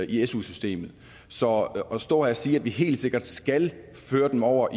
i su systemet så at stå her og sige at vi helt sikkert skal føre dem over